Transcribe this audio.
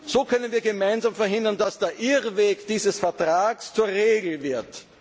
So können wir gemeinsam verhindern, dass der Irrweg dieses Vertrags zur Regel wird.